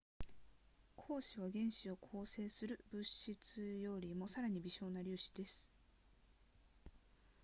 光子は原子を構成する物質よりもさらに微小な粒子です